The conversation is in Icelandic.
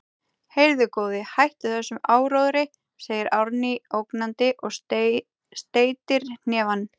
Heyrðu, góði, hættu þessum áróðri, segir Árný ógnandi og steytir hnefann.